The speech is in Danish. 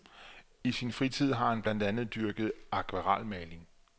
I sin fritid har han blandt andet dyrket akvarelmaling.